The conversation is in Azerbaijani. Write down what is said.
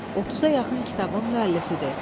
30-a yaxın kitabın müəllifidir.